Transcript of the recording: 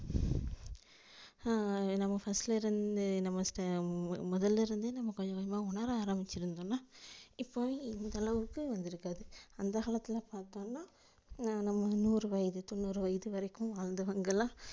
ஆஹ் நம்ம first லிருந்து நம்ம முதலிருந்து நம்ம கொஞ்ச கொஞ்சமா உணர ஆரம்பிச்சிரும்தோனா இப்போ இந்த அளவுக்கு வந்திருக்காது அந்த காலத்துல பாத்தோம்னா நம்ம நூறு வயது தொண்ணுறு வயது வரைக்கும் வாழ்ந்தவங்களா